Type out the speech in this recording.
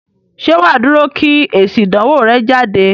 Ṣé wà á dúró kí èsì ìdánwò rẹ jáde?